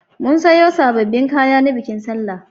Mun sayo sabbin kaya na bikin sallah.